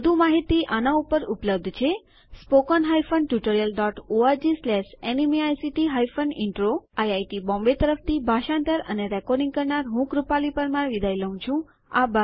વધુ માહિતી આના ઉપર ઉપલબ્ધ છે httpspoken tutorialorgNMEICT Intro IIT Bombay તરફથી ભાષાંતર અને રેકોર્ડીંગ કરનાર હું કૃપાલી પરમાર વિદાય લઉં છું